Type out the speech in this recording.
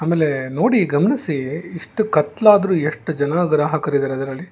ಆಮೇಲೆ ನೋಡಿ ಗಮನಿಸಿ ಇಷ್ಟ್ ಕತ್ಲಾದ್ರೂ ಎಷ್ಟ ಜನ ಗ್ರಾಹಕರಿದ್ದಾರೆ ಇದರ ಅದರಲ್ಲಿ.